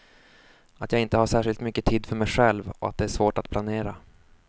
Att jag inte har särskilt mycket tid för mig själv och att det är svårt att planera.